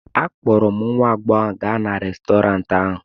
akpọrọ m nwa agbọghọ ahụ gaa Restọrantị ahụ